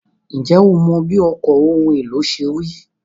Ǹjẹ́ o mọ bí ọkọ̀ ohun èlò ṣe rí?